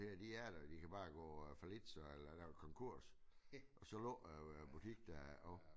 Der de er der de kan bare gå øh falit så eller konkurs og så lukker æ butik der jo